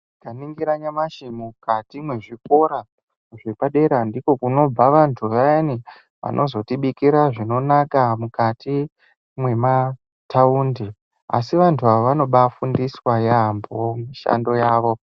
Tikaningira nyamashi mukati mwezvikora zvepadera ndiko kunobva vantu vayani vanozotibikira zvinonaka mukati mwema taundi asi vantu ava vanobaafundiswa yaambo mishando yavo.